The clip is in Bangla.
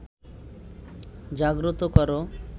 জাগ্রত করো